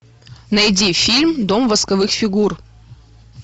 найди фильм дом восковых фигур